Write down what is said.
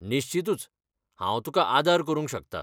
निश्चीतूच, हांव तुका आदार करूंक शकता.